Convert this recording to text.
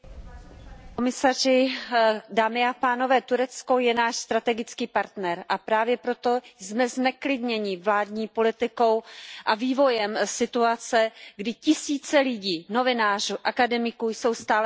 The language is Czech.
Paní předsedající, Turecko je náš strategický partner, a právě proto jsme zneklidněni vládní politikou a vývojem situace, kdy tisíce lidí, novinářů, akademiků jsou stále ve vězení.